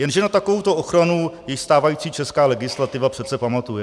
Jenže na takovouto ochranu již stávající česká legislativa přece pamatuje.